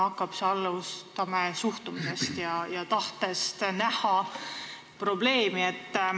Alustame suhtumisest ja tahtest näha probleemi.